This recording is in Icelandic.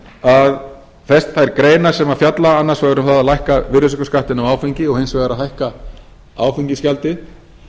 að þær greinar sem fjalla annars vegar um það að lækka virðisaukaskattinn á áfengi og hins vegar að hækka áfengisgjaldið